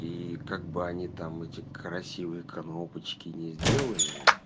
и как бы они там эти красивые коробочки не сделали